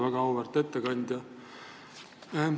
Väga auväärt ettekandja!